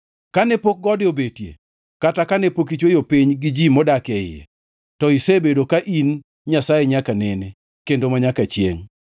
Kane pok gode obetie kata kane pok ichweyo piny gi ji modak e iye, to isebedo ka in Nyasaye nyaka nene kendo manyaka chiengʼ.